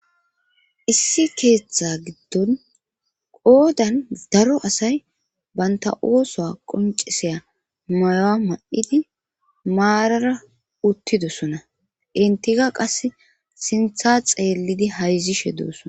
issi keeththa giddon qoodan daro asay banta ooso qonciseya mayowa ma7idi maarara uttidosona intiga qass sintha xeellidi hayzishe dooson